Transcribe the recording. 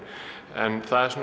en það er